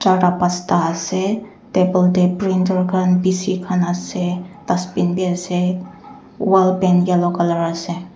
charta pasta ase table tae printer khan bishi khan ase dustbin biase wall paint yellow colour ase.